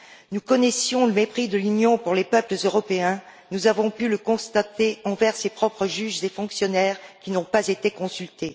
Nous connaissions le mépris de l'Union pour les peuples européens, nous avons pu le constater envers ses propres juges et fonctionnaires, qui n'ont pas été consultés.